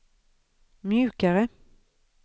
mjukare